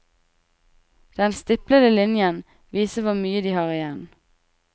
Den stiplede linjen viser hvor mye de har igjen.